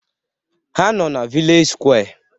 Ha nọ na vilej sụkwé